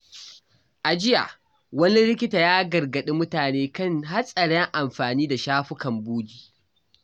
A jiya, wani likita ya gargaɗi mutane kan hatsarin amfani da shafukan bogi.